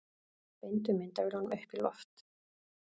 Beindu myndavélunum upp í loft